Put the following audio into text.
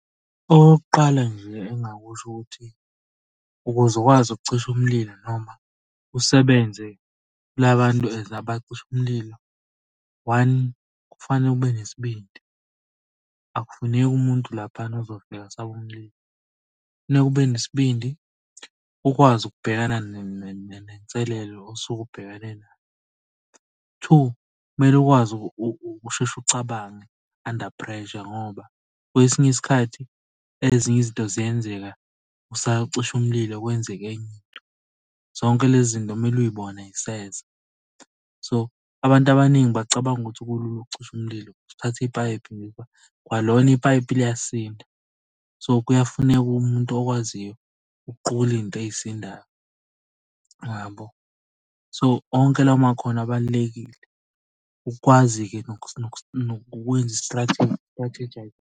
Okokuqala nje engingakusho ukuthi, ukuze ukwazi ukucisha umlilo noma usebenze la bantu as abacisha umlilo, one kufanele ube nesibindi. Akufuneki umuntu laphayana ozofika asabe umlilo. Kufuneke ube nesibindi ukwazi ukubhekana nenselelo osuke ubhekene nayo. Two, kumele ukwazi ukusheshe ucabange under pressure, ngoba kwesinye isikhathi ezinye izinto ziyenzeka usacisha umlilo kwenzeke enye into. Zonke lezi zinto kumele uy'bona ziseza. So, abantu abaningi bacabanga ukuthi kulula ukucisha umlilo, ukuthatha ipayipi, kwalona ipayipi liyasinda. So, kuyafuneka umuntu okwaziyo ukuqukula iy'nto ey'sindayo yabo. So onke lawo makhono abalulekile. Ukukwazi-ke nokwenza .